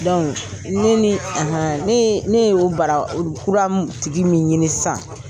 ne ni , ne y'o bara kura tigi min ɲini sisan